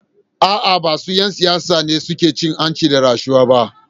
A’a, ba duk ‘yan siyasa ne suke cin hanci da rashawa ba.